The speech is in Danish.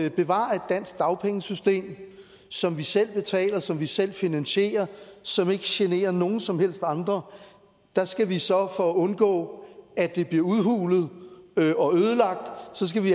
at bevare et dansk dagpengesystem som vi selv betaler som vi selv finansierer og som ikke generer nogen som helst andre skal vi så for at undgå at det bliver udhulet og ødelagt